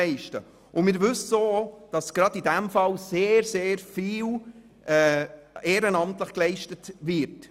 Es ist uns bekannt, dass gerade in diesem Bereich sehr viel ehrenamtliche Arbeit geleistet wird.